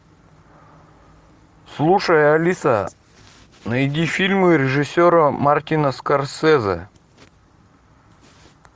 слушай алиса найди фильмы режиссера мартина скорсезе